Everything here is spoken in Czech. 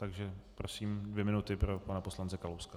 Takže prosím, dvě minuty pro pana poslance Kalouska.